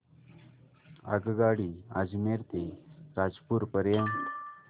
आगगाडी अजमेर ते रामपूर पर्यंत